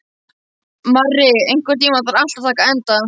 Marri, einhvern tímann þarf allt að taka enda.